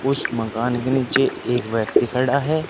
उस मकान के नीचे एक व्यक्ति खड़ा है।